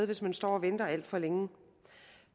hvis man står og venter alt for længe